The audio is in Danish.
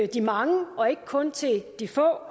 de mange og ikke kun til de få